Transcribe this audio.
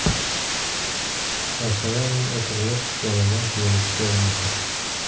Sharsharaning o‘pirilib tushganidan keyingi ko‘rinishi.